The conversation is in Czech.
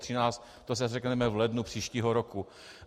To si řekneme v lednu příštího roku.